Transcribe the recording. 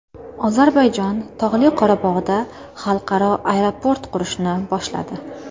Ozarbayjon Tog‘li Qorabog‘da xalqaro aeroport qurishni boshladi.